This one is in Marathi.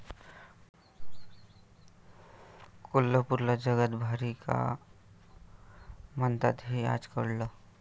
कोल्हापूरला जगात भारी का म्हणतात हे आज कळलं!